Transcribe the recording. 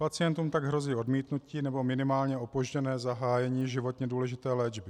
Pacientům tak hrozí odmítnutí nebo minimálně opožděné zahájení životně důležité léčby.